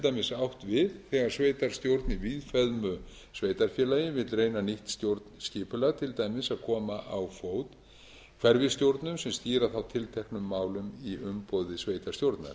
dæmis átt við þegar sveitarstjórn í víðfeðmu sveitarfélagi vill reyna nýtt stjórnskipulag til dæmis að koma á fót hverfisstjórnum sem stýra þá tilteknum málum í umboði sveitarstjórnar